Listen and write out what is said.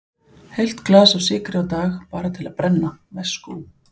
Heilt glas af sykri á dag, bara til að brenna, veskú.